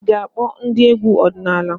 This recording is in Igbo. Ị ga-akpọ ndị egwu ọdịnala?